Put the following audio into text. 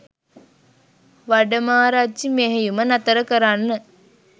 වඩමාරච්චි මෙහෙයුම නතර කරන්න